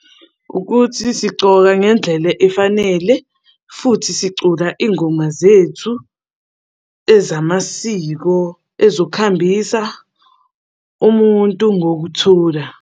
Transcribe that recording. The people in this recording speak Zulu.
Ukuthi sigcoka ngendlela efanele futhi sicula iy'ngoma zethu ezamasiko ezokuhambisa umuntu ngokuthula.